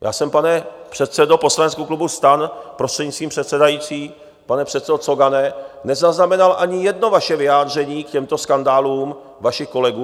Já jsem, pane předsedo poslaneckého klubu STAN, prostřednictvím předsedající, pane předsedo Cogane, nezaznamenal ani jedno vaše vyjádření k těmto skandálům vašich kolegů.